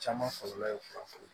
Caman kɔlɔlɔ ye fura